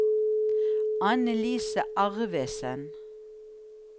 Annelise Arvesen